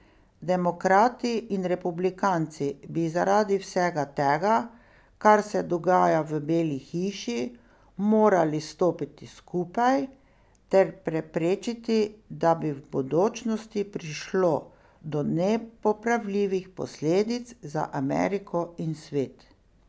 Demokrati in republikanci bi zaradi vsega tega, kar se dogaja v Beli hiši, morali stopiti skupaj, ter preprečiti, da bi v bodočnosti prišlo do nepopravljivih posledic za Ameriko in svet.